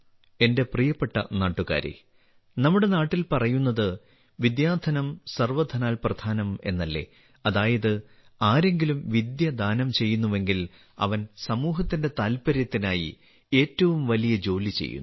എന്റെ പ്രിയപ്പെട്ട നാട്ടുകാരേ നമ്മുടെ നാട്ടിൽ പറയുന്നത് വിദ്യാധനം സർവധനാൽ പ്രധാനം എന്നല്ലേ അതായത് ആരെങ്കിലും വിദ്യ ദാനം ചെയ്യുന്നുവെങ്കിൽ അവൻ സമൂഹത്തിന്റെ താൽപ്പര്യത്തിനായി ഏറ്റവും വലിയ ജോലി ചെയ്യുന്നു